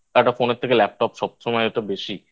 একটা Phone এর থেকে Laptop সবসময় ওতো বেশি